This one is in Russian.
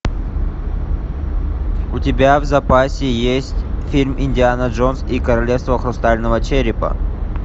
у тебя в запасе есть фильм индиана джонс и королевство хрустального черепа